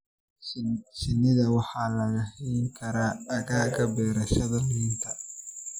Shinnida waxaa lagu hayn karaa aagagga beerashada liinta.